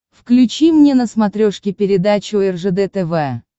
включи мне на смотрешке передачу ржд тв